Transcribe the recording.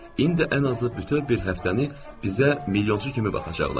İndi ən azı bütöv bir həftəni bizə milyonçu kimi baxacaqlar.